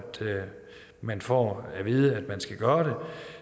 man får at vide at man skal gøre